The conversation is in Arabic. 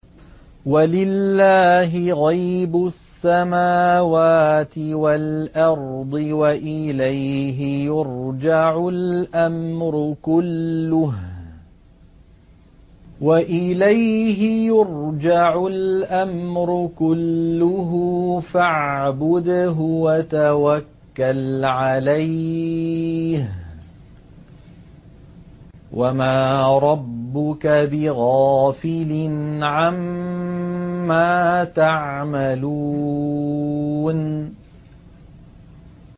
وَلِلَّهِ غَيْبُ السَّمَاوَاتِ وَالْأَرْضِ وَإِلَيْهِ يُرْجَعُ الْأَمْرُ كُلُّهُ فَاعْبُدْهُ وَتَوَكَّلْ عَلَيْهِ ۚ وَمَا رَبُّكَ بِغَافِلٍ عَمَّا تَعْمَلُونَ